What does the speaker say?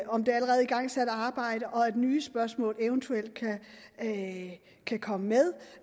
om det allerede igangsatte arbejde og at nye spørgsmål eventuelt kan komme med